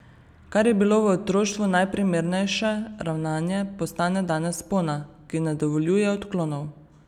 Kar je bilo v otroštvu najprimernejše ravnanje, postane danes spona, ki ne dovoljuje odklonov.